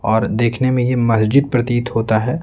और देखने में यह मस्जिद प्रतीत होता है।